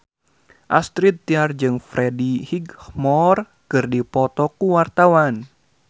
Astrid Tiar jeung Freddie Highmore keur dipoto ku wartawan